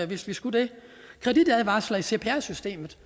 hvis jeg skal det kreditadvarsler i cpr systemet